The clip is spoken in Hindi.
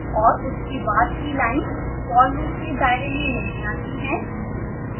और उसके बाद की लाइन्स for loop के दायरे में नहीं आती हैं